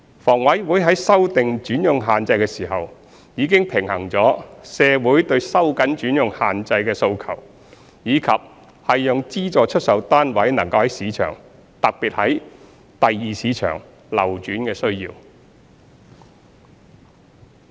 房委會在修訂轉讓限制時，已經平衡了社會對收緊轉讓限制的訴求，以及讓資助出售單位能在市場上流轉的需要。